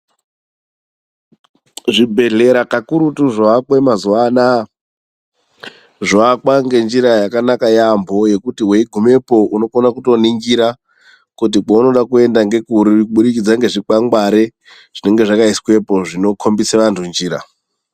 Zvibhedhlera kakurutu zvoakwe mazuva anaya, zvovakwa ngenjira yakanaka yaambo yekuti weigumepo unokona kutoningira, kuti kwauri kuda kuenda ngekuri kubudikidza ngezvikwangwari zvinenge zvakaiswepo zvinokombise vantu njira.